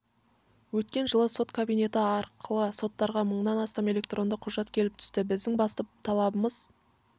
өткен жылы сот кабинеті арқылы соттарға мыңнан астам электронды құжат келіп түсті біздің басты талабымыз